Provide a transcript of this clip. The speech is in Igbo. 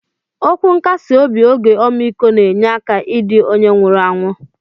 Okwu nkasi obi oge omikọ na enye aka idi onye nwuru anwụ.